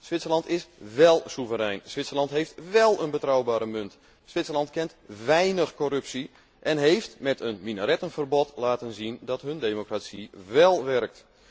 Zwitserland is wél soeverein, Zwitserland heeft wél een betrouwbare munt, Zwitserland kent weinig corruptie en heeft, met een minarettenverbod, laten zien dat hun democratie wél werkt.